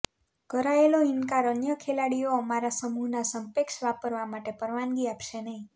કરાયેલો ઇનકાર અન્ય ખેલાડીઓ અમારા સમૂહના સંક્ષેપ વાપરવા માટે પરવાનગી આપશે નહિં